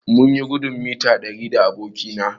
Mun yi gudun mita ɗari da aboki na